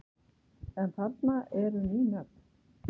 En þarna eru ný nöfn.